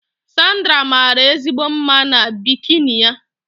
Sandra maara ezigbo mma na bikini ya